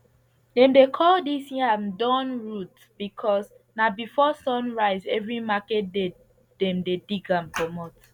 dem dey call dis yam dawn root because na before sun rise every market day dem dey dig am comot